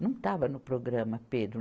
Não estava no programa, Pedro.